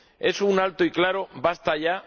Es un alto y claro ¡basta ya!